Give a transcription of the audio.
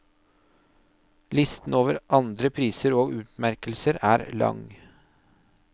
Listen over andre priser og utmerkelser er lang.